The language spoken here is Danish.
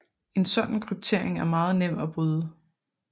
En sådan kryptering er meget nem at bryde